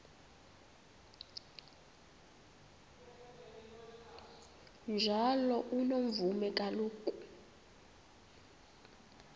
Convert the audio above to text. njalo unomvume kuloko